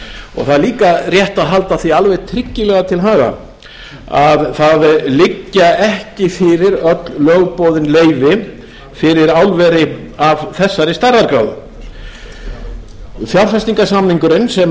til verksins þá er rétt að halda því alveg tryggilega til haga að ekki liggja fyrir öll lögboðin leyfi fyrir álver af þessari stærðargráðu fjárfestingarsamningur sá sem